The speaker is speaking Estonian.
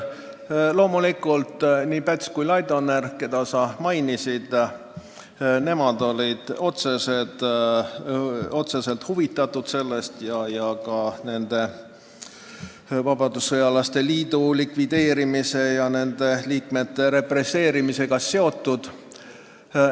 Loomulikult, nii Päts kui Laidoner, keda sa mainisid, olid sellest otseselt huvitatud ja vabadussõjalaste liidu likvideerimise ja nende liikmete represseerimisega seotud.